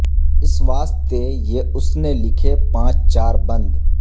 اس واسطے یہ اس نے لکھے پانچ چار بند